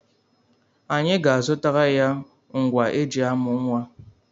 Anyị ga-azụtara ya ngwa eji amụ nwa.